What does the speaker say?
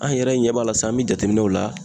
An yɛrɛ ɲɛ b'a la sisan an be jateminɛ la